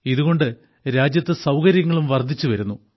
ഇതുകൊണ്ട് രാജ്യത്ത് സൌകര്യങ്ങളും വർദ്ധിച്ചുവരുന്നു